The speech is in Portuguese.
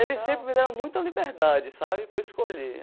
Eles sempre me deram muita liberdade, sabe, para eu escolher.